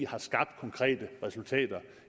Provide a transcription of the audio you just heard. har skabt konkrete resultater